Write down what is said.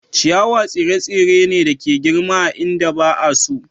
Ciyawa tsire-tsire ne da ke girma a inda ba a so.